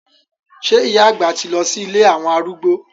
Sé ìyá àgbà ti lọ sí ilé àwọn arúgbó?